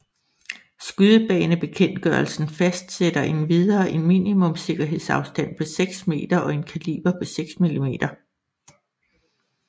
Skydebanebekendtgørelsen fastsætter endvidere en minimumssikkerhedsafstand på 6 meter og en kaliber på 6 mm